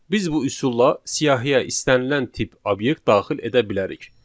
Biz bu üsulla siyahıya istənilən tip obyekt daxil edə bilərik.